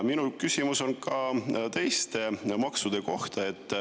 Minu küsimus on ka teiste maksude kohta.